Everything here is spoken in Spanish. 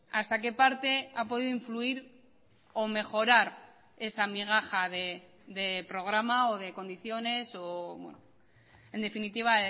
hasta qué parte ha podido influir o mejorar esa migaja de programa o de condiciones en definitiva